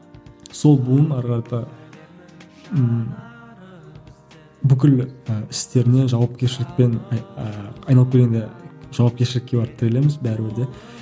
сол буын әрі қарата ііі бүкіл і істеріне жауапкершілік пен ііі айналып келгенде жауапкерщілікке барып тірелеміз бәрібір де